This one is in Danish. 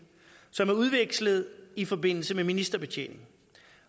som er udvekslet i forbindelse med ministerbetjening